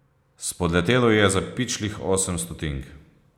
Spodletelo ji je za pičlih osem stotink.